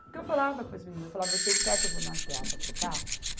Porque eu falava para as meninas, eu falava, vocês querem que eu vá no agiota trocar?